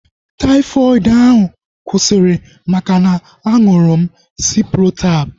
Taifọdụ ahu kwụsịrị maka na-aṅụrụ m Ciprotab